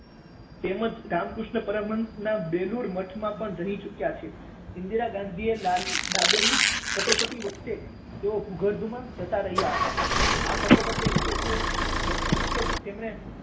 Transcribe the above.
તેમજ રામકૃષ્ણ પરમહંસના બેલુર મઠમાં પણ રહી ચૂક્યા છે. ઈંદિરા ગાંધીએ લા~લાદેલી કટોકટી વખતે તેઓ ભૂગર્ભમાં જતા રહ્યા હતા. આ કટોકટી વખતે જ વખતે જ તેમણે